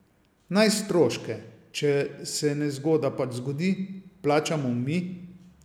Naj stroške, če se nezgoda pač zgodi, plačamo mi.